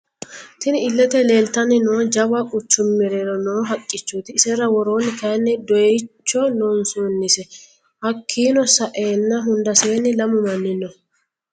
Tinni illete leelitanni nooti jawa quchumu mereerro noo haqichoti isera worooni kayiini doyiicho loonsonise hakiino sa'eena hundaseeni lamu Mani no.